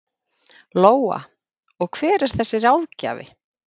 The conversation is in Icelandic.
Lóa: Og hver er þessi ráðgjafi?